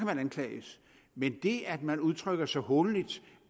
man anklages men det at man udtrykker sig hånligt